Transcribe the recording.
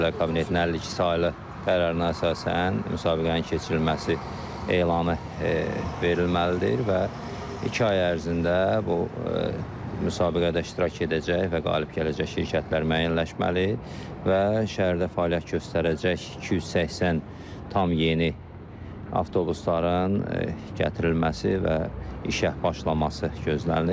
Nazirlər Kabinetinin 52 saylı qərarına əsasən müsabiqənin keçirilməsi elanı verilməlidir və iki ay ərzində bu müsabiqədə iştirak edəcək və qalib gələcək şirkətlər müəyyənləşməli və şəhərdə fəaliyyət göstərəcək 280 tam yeni avtobusların gətirilməsi və işə başlaması gözlənilir.